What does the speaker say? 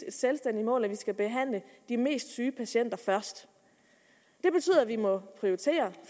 et selvstændigt mål at vi skal behandle de mest syge patienter først det betyder at vi må prioritere